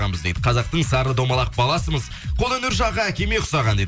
қазақтың сары домалақ баласымыз қол өнер жағы әкеме ұқсаған дейді